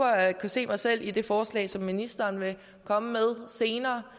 jeg kan se mig selv i det forslag som ministeren vil komme med senere